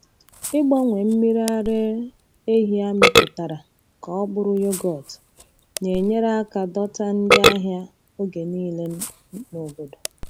Ịgbanwe mmiri ara ehi amịpụtara ka ọ bụrụ yoghurt na-enyere aka dọta ndị ahịa oge niile n'obodo.